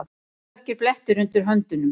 Dökkir blettir undir höndunum.